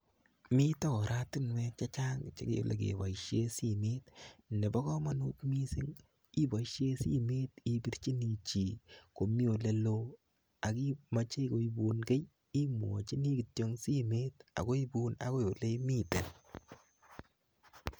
Mite oratinwek chechang che kele keboisie simet. Nebo komonut mising iboisie simet ipirchini chi komi ale loo ak imochei koibun kei imwochini kityo ang simet akoibun akoi ole imiten.